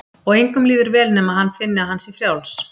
Og engum líður vel nema hann finni að hann sé frjáls.